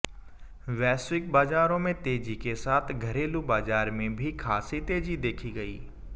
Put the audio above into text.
वैश्विक बाजारों में तेजी के साथ घरेलू बाजार में भी खासी तेजी देखी गई